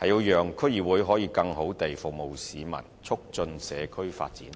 是讓區議會可以更好地服務市民和促進社區發展。